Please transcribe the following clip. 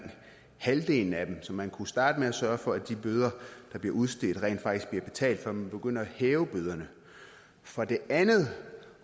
halvdelen af dem så man kunne jo starte med at sørge for at de bøder der bliver udstedt rent faktisk bliver betalt før man begynder at hæve bøderne for det andet